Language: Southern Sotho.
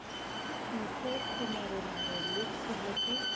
mphe semeremere le tshea ke